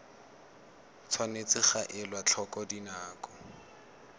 tshwanetse ga elwa tlhoko dinako